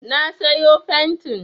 Na sayo fentin